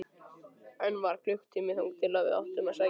Enn var klukkutími þangað til við áttum að sækja hana.